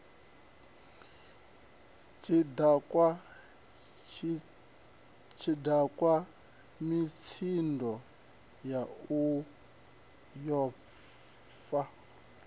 tshidakwa mitsindo yau yo fa